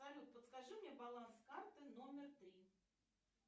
салют подскажи мне баланс карты номер три